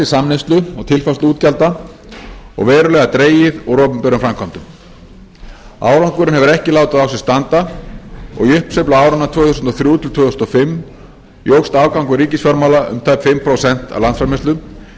samneyslu og tilfærsluútgjalda og verulega dregið úr opinberum framkvæmdum árangurinn hefur ekki látið á sér standa og í uppsveiflu áranna tvö þúsund og þrjú til tvö þúsund og fimm jókst afgangur ríkisfjármála um tæp fimm prósent af landsframleiðslu